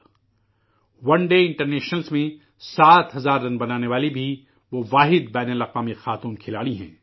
ایک روزہ بین الاقوامی میچوں میں سات ہزار رن بنانے والی بھی وہ اکیلی بین الاقوامی خاتون کھلاڑی ہیں